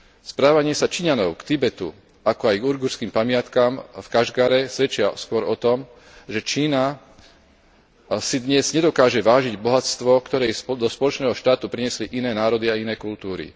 Správanie sa Číňanov k Tibetu, ako aj k ujgurským pamiatkam v Kašgare svedčia skôr o tom, že Čína si dnes nedokáže vážiť bohatstvo, ktoré jej do spoločného štátu priniesli iné národy a iné kultúry.